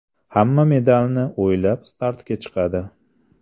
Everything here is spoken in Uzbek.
Hamma medalni o‘ylab startga chiqadi.